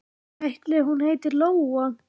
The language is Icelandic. Ætli hún heiti Lóa?